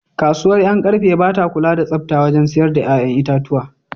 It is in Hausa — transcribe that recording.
Kasuwar Yankarfe ba ta kula da tsafta wajen siyar da ‘ƴa’ƴan itatuwa.